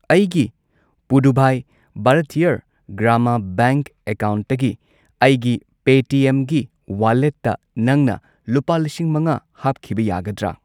ꯑꯩꯒꯤ ꯄꯨꯔꯨꯚꯥꯏ ꯚꯥꯔꯊꯤꯌꯔ ꯒ꯭ꯔꯥꯃꯥ ꯕꯦꯡꯛ ꯑꯦꯀꯥꯎꯟꯠꯇꯒꯤ ꯑꯩꯒꯤ ꯄꯦꯇꯤꯑꯦꯝꯒꯤ ꯋꯥꯂꯦꯠꯇ ꯅꯪꯅ ꯂꯨꯄꯥ ꯂꯤꯁꯤꯡ ꯃꯉꯥ ꯍꯥꯞꯈꯤꯕ ꯌꯥꯒꯗ꯭ꯔꯥ?